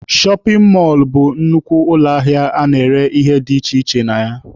Shọpin mọlụ bụ nnukwu ụlọ ahịa a na-ere ihe dị iche iche na ya.